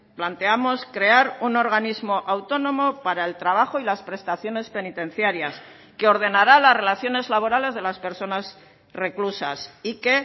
planteamos crear un organismo autónomo para el trabajo y las prestaciones penitenciarias que ordenará las relaciones laborales de las personas reclusas y que